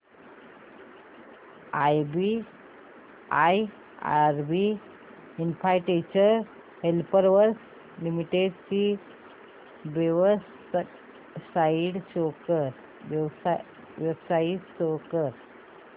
IRB infrastructure developers limited ची website show करा